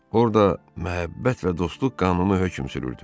Orda məhəbbət və dostluq qanunu hökm sürürdü.